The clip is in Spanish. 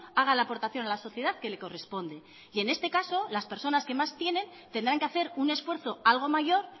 haga la aportación a la sociedad que le corresponde y en este caso las personas que más tienen tendrán que hacer un esfuerzo algo mayor